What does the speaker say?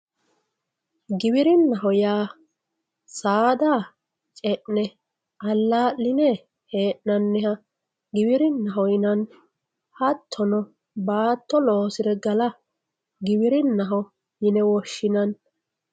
giwirinnaho yaa saada ce'ne allaa'line hee'nanniha giwirinnaho yinanni hattono baatto loosire gala giwirinnaho yine woshshinanni.